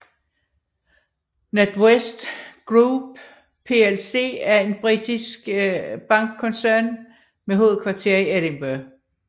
NatWest Group plc er en britisk bankkoncern med hovedkvarter i Edinburgh